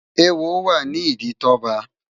Éwó wá ni idi Toba